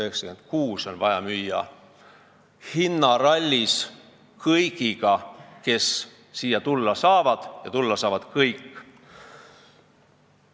96% on vaja müüa hinnarallis kõigiga, kes siia tulla saavad, ja tulla saavad kõik.